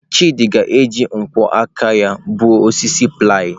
Chidị ga-eji nkwọ aka ya gbuo osisi ply.